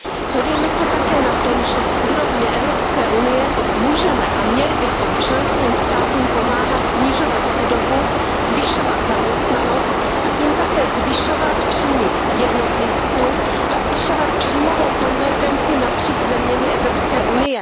Shodujeme se také na tom, že z úrovně Evropské unie můžeme a měli bychom členským státům pomáhat snižovat chudobu, zvyšovat zaměstnanost a tím také zvyšovat příjmy jednotlivců a zvyšovat příjmovou konvergenci napříč zeměmi EU.